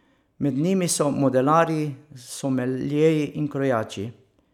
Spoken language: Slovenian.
Med njimi so modelarji, someljeji in krojači.